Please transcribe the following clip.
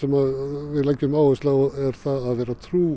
við leggjum áherslu á er að vera trú